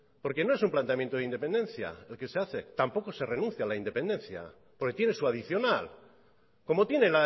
porque no es un planteamiento de independencia el que se hace tampoco se renuncia a la independencia porque tiene su adicional como tiene